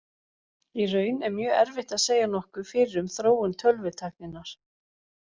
Í raun er mjög erfitt að segja nokkuð fyrir um þróun tölvutækninnar.